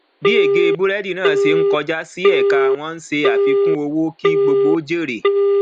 bí ege burẹdi náà se n kọjá sí ẹka wọn n se àfikùn owó kí gbogbo jèrè